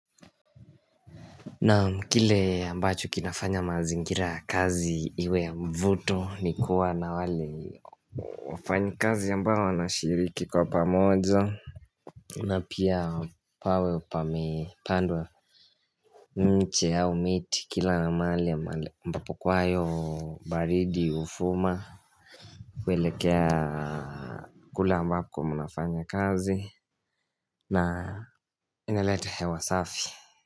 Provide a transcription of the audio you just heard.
Naam kile ambacho kinafanya mazingira ya kazi iwe ya mvuto ni kuwa na wale wafanyikazi ambao wanashiriki kwa pamoja na pia pawe pame pandwa mche au miti kila na maali ambapo kwayo baridi ufuma Kwelekea kule ambako mnafanya kazi na ineleta hewa safi.